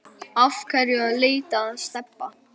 Af hverju ertu að leita að Stebba